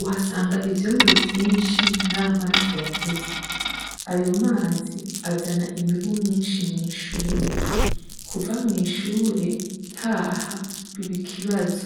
uhasanga ivyondo vyinshi n’amazi yateze. Ayo amazi azana imibu myinshi mw'ishure. Kuva mw'ishure, ntaha biba ikibazo.